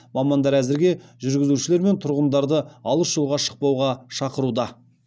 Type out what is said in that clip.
мамандар әзірге жүргізушілер мен тұрғындарды алыс жолға шықпауға шақыруда